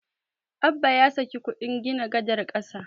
Abba ya saki kuɗin gina gadar ƙasa.